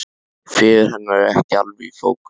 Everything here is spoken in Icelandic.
Fegurð hennar er ekki alveg í fókus.